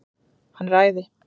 Hann er æði!